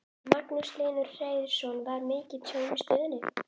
Magnús Hlynur Hreiðarsson: Var mikið tjón í stöðinni?